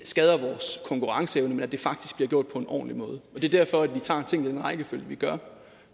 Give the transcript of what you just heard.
skader vores konkurrenceevne men at det faktisk bliver gjort på en ordentlig måde det er derfor vi tager tingene i den rækkefølge vi gør